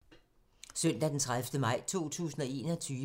Søndag d. 30. maj 2021